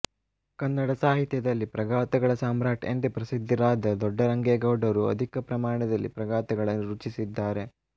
ಕನ್ನಡ ಸಾಹಿತ್ಯದಲ್ಲಿ ಪ್ರಗಾಥಗಳ ಸಾಮ್ರಾಟ್ ಎಂದು ಪ್ರಸಿದ್ಧಿರಾದ ದೊಡ್ಡರಂಗೇಗೌಡರು ಅಧಿಕ ಪ್ರಮಾಣದಲ್ಲಿ ಪ್ರಗಾಥಗಳನ್ನು ರುಚಿಸಿದ್ದಾರೆ